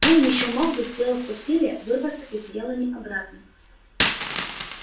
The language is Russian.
он ещё мог бы сделав усилие вырваться из елани обратно